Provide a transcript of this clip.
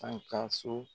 An ka so